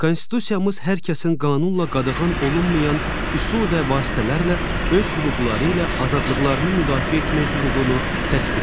Konstitusiyamız hər kəsin qanunla qadağan olunmayan üsul və vasitələrlə öz hüquqları ilə azadlıqlarını müdafiə etmək hüququnu təsbit edir.